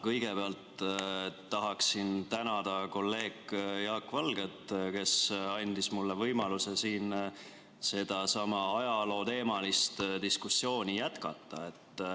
Kõigepealt tahan tänada kolleeg Jaak Valget, kes andis mulle võimaluse siin seda ajalooteemalist diskussiooni jätkata.